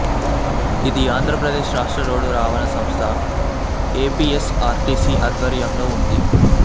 ఇది ఆంధ్రప్రదేశ్ రాష్ట్ర రోడ్డు రవాణా సంస్థ ఏపిఎస్ఆర్టిసి ఆధ్వర్యంలో ఉంది